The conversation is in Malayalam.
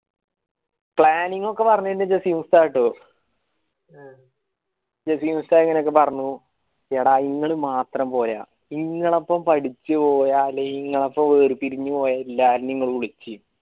planning ഒക്കെ പറഞ്ഞേ ജാസിം ഉസ്ത്താദ് ആട്ട എടാ ഇങ്ങള് മാത്രം പോരാ ഇങ്ങളപ്പം പഠിച്ച ഇങ്ങളപ്പം വേര് പിരിഞ്ഞു പോയ എല്ലാരേയും ഇങ്ങള് വിളിക്കി